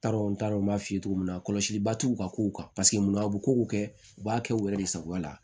N t'a dɔn n t'a dɔn n b'a f'i ye cogo min na kɔlɔsi ba t'u ka kow kan paseke mun a bɛ ko o kɛ u b'a kɛ u yɛrɛ de sagoya la